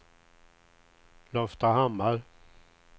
Loftahammar